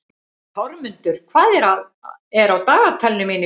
Þormundur, hvað er á dagatalinu mínu í dag?